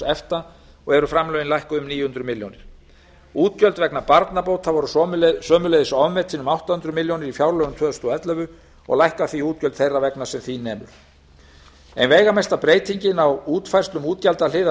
efta og eru framlögin lækkuð um níu hundruð milljóna króna útgjöld vegna barnabóta voru sömuleiðis ofmetin um átta hundruð milljóna króna í fjárlögum tvö þúsund og ellefu og lækka því útgjöld þeirra vegna sem því nemur ein veigamesta breytingin á útfærslum